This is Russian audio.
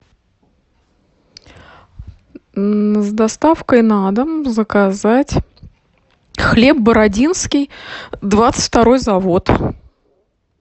с доставкой на дом заказать хлеб бородинский двадцать второй завод